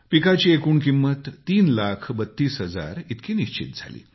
पिकाची एकूण किंमत 3 लाख 32 हजार इतकी निश्चित झाली